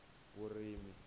vurimi